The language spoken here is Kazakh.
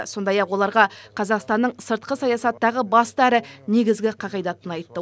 сондай ақ оларға қазақстанның сыртқы саясаттағы басты әрі негізгі қағидатын айтты